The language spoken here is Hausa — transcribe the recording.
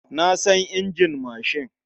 Na san injin mashin.